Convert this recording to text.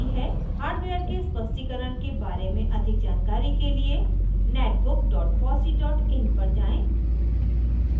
hardware के स्पष्टीकरण के बारे में अधिक जानकारी के लिए